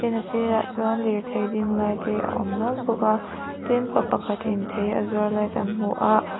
a sir ah chuan lirthei ding lai te a awm nual bawk a tin pa pakhat in thei a zuar lai kan hmu a.